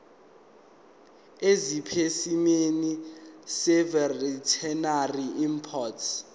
esipesimeni seveterinary import